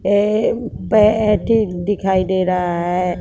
ये बैटरी दिखाई दे रहा है।